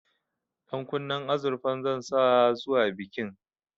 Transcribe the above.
Ɗankunnen azurfan zan sa zuwa bikin